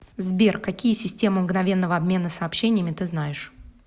сбер какие система мгновенного обмена сообщениями ты знаешь